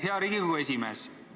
Hea Riigikogu esimees!